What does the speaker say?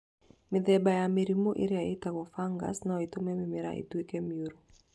Mĩthemba ya mĩmera ĩrĩa ĩtagwo fungus no ĩtũme mĩmera ĩtuĩke mĩũru